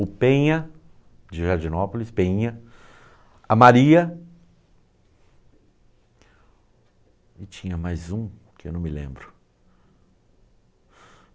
O Penha, de Jardinópolis, Penha, a Maria e tinha mais um que eu não me lembro.